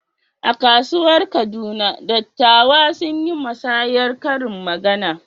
A kasuwar Kaduna, dattawa sun yi musayar karin magana.